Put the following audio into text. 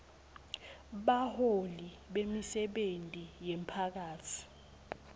baholi bemisebenti yemphakatsi